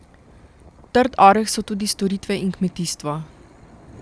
Trd oreh so tudi storitve in kmetijstvo.